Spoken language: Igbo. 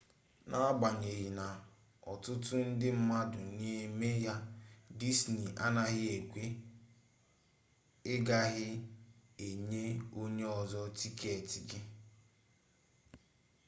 n’agbanyeghi na otutu ndi mmadu n’eme ya disney anaghi ekwe: i gaghi enye onye ozo tiketi gi